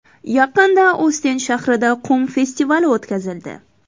Yaqinda Ostend shahrida qum festivali o‘tkazildi.